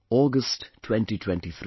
August 2023